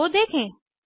code को देखें